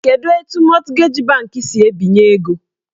Kedu etu mọtgeji bankị si ebinye ego?